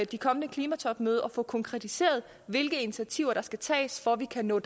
det kommende klimatopmøde at få konkretiseret hvilke initiativer der skal tages for at vi kan nå